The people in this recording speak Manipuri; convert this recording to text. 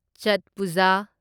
ꯆꯠ ꯄꯨꯖꯥ